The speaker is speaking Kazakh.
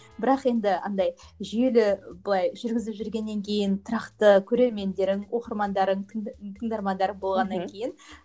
бірақ енді андай жүйелі былай жүргізіп жүргеннен кейін тұрақты көрермендерің оқырмандарың тыңдармандарың болғаннан кейін